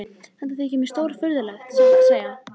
Þetta þykir mér stórfurðulegt, satt að segja.